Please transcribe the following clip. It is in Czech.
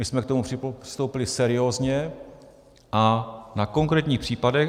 My jsme k tomu přistoupili seriózně a na konkrétních případech.